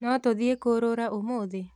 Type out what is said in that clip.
No tũthiĩ kũrũra ũmũthĩ?